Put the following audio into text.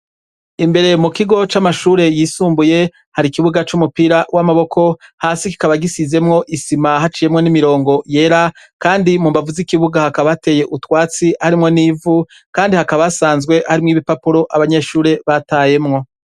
Imbere mu kigo c'amashure yisumbuye, hari ikibuga c'umupira w'amaboko, hasi kikaba gisizemwo isima haciwemwo n'imirongo yera, kandi mu mbavu z'ikibuga hakaba hateye utwatsi harimwo n'ivu, kandi hakaba hasanzwe harimwo ibipapuro abanyeshure batayemwo.